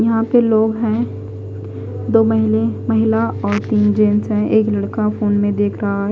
यहां पे लोग हैं। दो महीले महिला और तीन जेंट्स है। एक लड़का फोन में देख रहा है।